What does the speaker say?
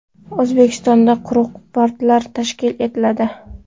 O‘zbekistonda quruq portlar tashkil etiladi.